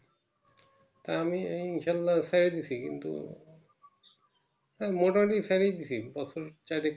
তা আমি এই ইনশাল্লা ছেড়ে দিছি কিন্তু মোটামোটি ছেড়ে দিছি কখন যদি